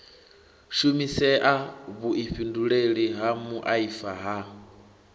shumisea vhuifhinduleli ha muaifa ha